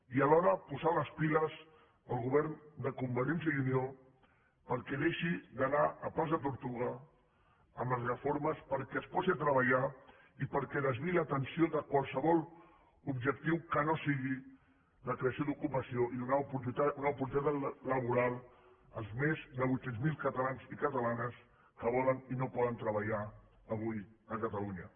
i alhora posar les piles al govern de convergència i unió perquè deixi d’anar a pas de tortuga amb les reformes perquè es posi a treballar i perquè desviï l’atenció de qualsevol objectiu que no sigui la creació d’ocupació i donar una oportunitat laboral als més de vuit cents miler catalans i catalanes que volen i no poden treballar avui a catalunya